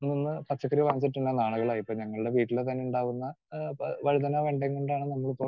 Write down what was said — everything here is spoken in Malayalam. സ്പീക്കർ 2 നിന്ന് പച്ചക്കറി വാങ്ങിച്ചിട്ട് തന്നെ നാളുകളായി. ഇപ്പോ ഞങ്ങളുടെ വീട്ടില് തന്നെ ഉണ്ടാകുന്ന ആഹ് പ വഴുതനയും വെണ്ടയും കൊണ്ടാണ് നമ്മളിപ്പോൾ